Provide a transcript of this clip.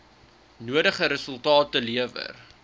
nodige resultate lewer